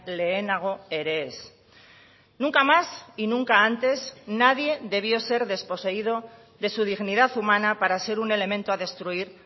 lehenago ere ez nunca más y nunca antes nadie debió ser desposeído de su dignidad humana para ser un elemento a destruir